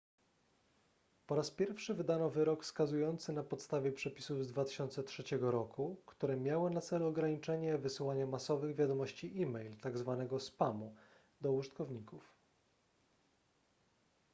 po raz pierwszy wydano wyrok skazujący na podstawie przepisów z 2003 r które miały na celu ograniczenie wysyłania masowych wiadomości e-mail tzw spamu do użytkowników